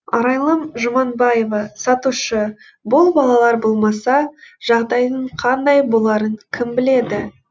арайлым жұманбаева сатушы бұл балалар болмаса жағдайдың қандай боларын кім біледі